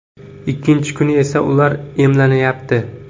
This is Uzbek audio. Ikkinchi kuni esa ular emlanyapti.